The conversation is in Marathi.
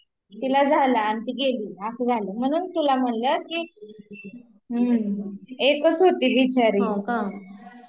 त्यांच्यामुळे ती तिला झाला आणि ती गेली असं झालं, म्हणून तुला म्हटलं कि, एकच होती बिचारी